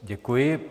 Děkuji.